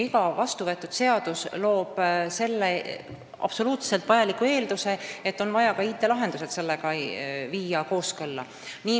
Iga vastuvõetud seadus loob selle absoluutselt vajaliku eelduse, et ka IT-lahendused on vaja sellega kooskõlla viia.